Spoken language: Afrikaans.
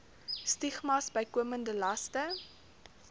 stigmas bykomende laste